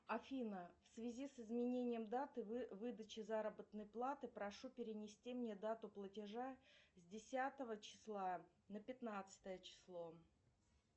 афина в связи с изменением даты выдачи заработной платы прошу перенести мне дату платежа с десятого числа на пятнадцатое число